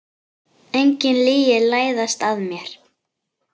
Engin lygi læðast að mér.